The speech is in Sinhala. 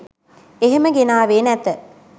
එහෙම ගෙනාවේ නැත